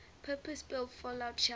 purpose built fallout shelter